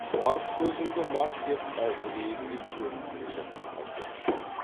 мас көзіңді мас деп әзірейілдей төніп келе жатқан бірдеме